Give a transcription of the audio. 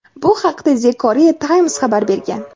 Bu haqda "The Korea Times" xabar bergan.